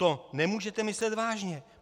To nemůžete myslet vážně.